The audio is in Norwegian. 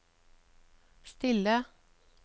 stille